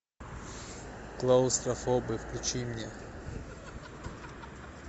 клаустрофобы включи мне